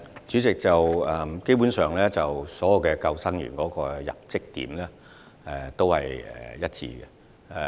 主席，基本上，所有救生員的入職點是一致的。